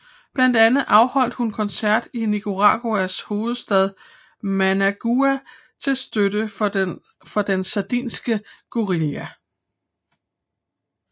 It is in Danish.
Blandt andet afholdt hun koncert i Nicaraguas hovedstad Managua til støtte for den sandinistiske guerilla